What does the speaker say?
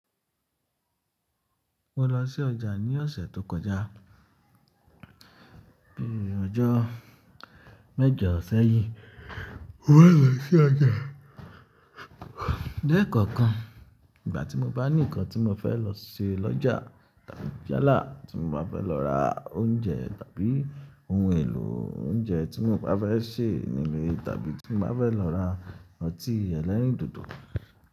Mo lọ sí ọjà ní ọ̀sẹ̀ tó kọjá. Bí ọjọ́ mẹ́jọ sẹ́yìn Mo fẹ́ lọ sí ọjà. Le kọ̀okan ìgbà tí mo bá ní ǹkan tí mo fẹ́ lọ ṣe lọ́jà tàbí jálá tí mo bá fẹ́ lọ ra oúnjẹ tàbí oun èlò oúnjẹ tí mo bá fẹ́ ṣe nílé tàbí tí mo bá fẹ́ lọ ra ọtí ẹlẹ́rìndòdò.